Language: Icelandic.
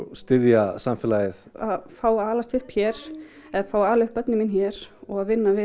styðja samfélagið að fá að alast upp hér eða fá að ala upp börnin mín hér og að vinna við